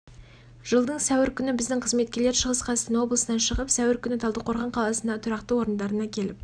жылдың сәуір күні біздің қызметкерлер шығыс қазақстан облысынан шығып сәуір күні талдықорған қаласындағы тұрақты орындарына келіп